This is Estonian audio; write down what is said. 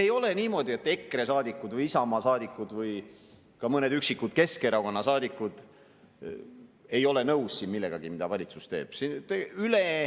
Ei ole niimoodi, et EKRE saadikud või Isamaa saadikud või ka mõned üksikud Keskerakonna saadikud ei ole siin nõus millegagi, mida valitsus teeb.